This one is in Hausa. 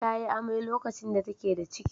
Ta yi amai lokacin da take da ciki.